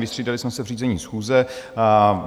Vystřídali jsme se v řízení schůze.